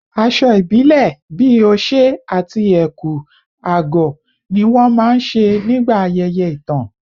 Aṣọ ìbílẹ̀ bíi oṣé àti ẹ̀kú/àgọ̀ ni wọ́n máa ń ṣe nígbà ayẹyẹ ìtàn